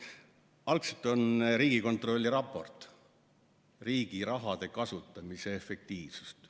Algselt räägib Riigikontrolli raport riigi rahade kasutamise efektiivsusest.